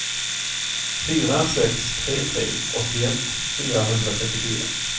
fyra sex tre tre åttioett fyrahundratrettiofyra